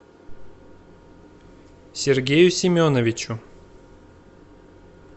сергею семеновичу